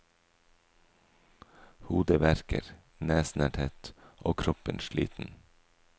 Hodet verker, nesen er tett og kroppen sliten.